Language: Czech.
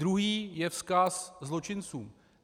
Druhý je vzkaz zločincům.